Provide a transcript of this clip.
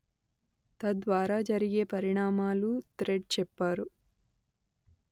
తద్వారా జరిగే పరిణామాలూ థ్రెడ్ చెప్పారు